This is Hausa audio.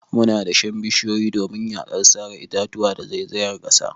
Muna dashen bishiyu domin yakar sare itatuwa da zaizayar kasa.